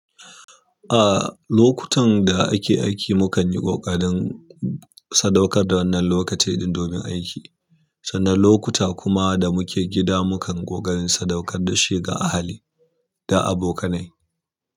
Ah lokutan da ake aiki mu kan yi ƙoƙarin sadaukar da wannan lokaci ɗin domin aiki. Sannan lokuta kuma da muke gida mu kan ƙoƙarin sadaukar da shi ga ahali da abokanai.